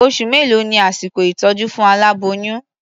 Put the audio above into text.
Oṣù mélòó ni àsìkò ìtọ́jú fún aláboyún?